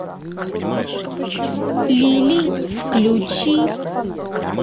лилий включи